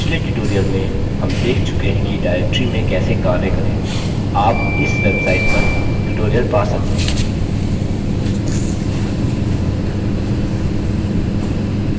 पिछले tutorial में हम देख चुके हैं कि directories में कैसे कार्य करें आप इस website पर tutorial पा सकते हैं